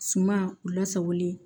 Suma u lasagolen